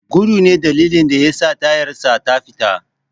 Gudu ne dalilin da yasa tayarsa ta fita.